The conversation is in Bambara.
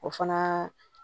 O fana